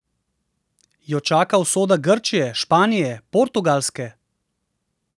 Jo čaka usoda Grčije, Španije, Portugalske?